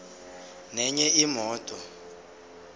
nenye imoto